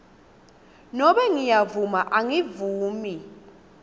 nobe ngiyavuma angivumi